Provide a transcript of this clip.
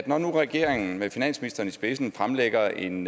når nu regeringen med finansministeren i spidsen fremlægger en